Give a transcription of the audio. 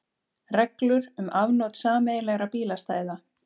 Reglur um afnot sameiginlegra bílastæða.